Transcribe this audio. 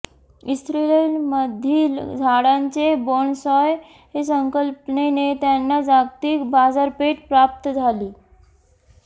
इस्रयलमधील झाडांचे बोन्सॉय संकल्पनेने त्यांना जागतिक बाजारपेठ प्राप्त झाली